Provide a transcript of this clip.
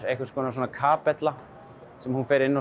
einhvers konar svona kapella sem hún fer inn